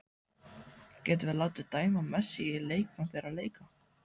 Getum við látið dæma Messi í leikbann fyrir að leika?